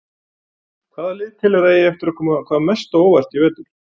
Hvaða lið telurðu að eigi eftir að koma hvað mest á óvart í vetur?